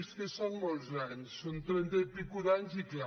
és que són molts anys són trenta anys i escaig i cal